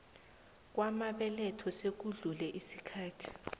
kwamabeletho sekudlule isikhathi